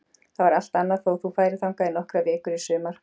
Það var allt annað þó þú færir þangað í nokkrar vikur í sumar.